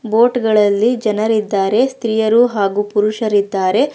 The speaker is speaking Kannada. ಬೋಟ್ ಗಳಲ್ಲಿ ಜನರಿದ್ದಾರೆ ಸ್ತ್ರೀಯರ ಹಾಗೂ ಪುರುಷರಿದ್ದಾರೆ.